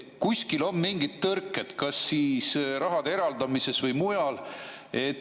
Kuskil on mingid tõrked, kas siis raha eraldamises või mujal.